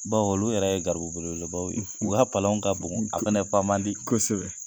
Baw olu yɛrɛ ye garibu belebele baw ye, ,u k'a palanw ka bon ,a fana fa man di .Kosɛbɛ.